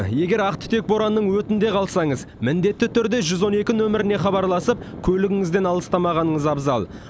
егер ақ түтек боранның өтінде қалсаңыз міндетті түрде жүз он екі нөміріне хабарласып көлігіңізден алыстамағаныңыз абзал